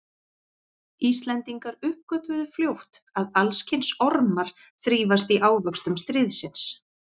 Íslendingar uppgötvuðu fljótt að alls kyns ormar þrífast í ávöxtum stríðsins.